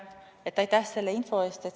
Aitäh selle info eest!